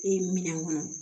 E minɛn kɔnɔ